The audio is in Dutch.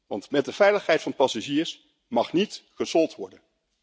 Want met de veiligheid van passagiers mag niet gesold worden.